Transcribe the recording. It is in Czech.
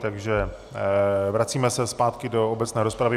Takže vracíme se zpátky do obecné rozpravy.